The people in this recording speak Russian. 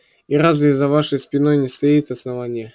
и разве за вашей спиной не стоит основание